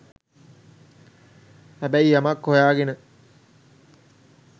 හැබැයි යමක් හොයාගෙන